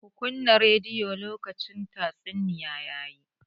Kunna rediyon! lokacin tatsuniya ya yi.